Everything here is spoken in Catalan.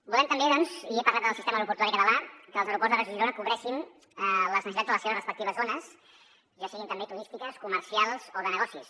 volem també he parlat del sistema aeroportuari català que els aeroports de reus i girona cobreixin les necessitats de les seves respectives zones ja siguin també turístiques comercials o de negocis